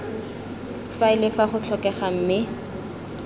faele fa go tlhokega mme